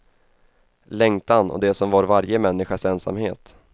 Längtan och det som var varje människas ensamhet.